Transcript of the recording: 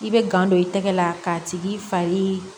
I bɛ gan don i tɛgɛ la k'a tigi fari